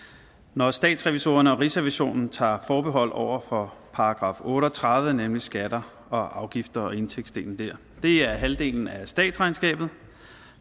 når statsrevisorerne og rigsrevisionen tager forbehold over for § otte og tredive nemlig skatter og afgifter og indtægtsdelen der det er halvdelen af statsregnskabet